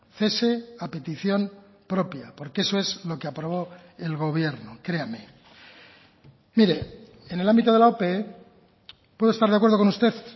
cese a petición propia porque eso es lo que aprobó el gobierno créame mire en el ámbito de la ope puedo estar de acuerdo con usted